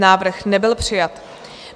Návrh nebyl přijat.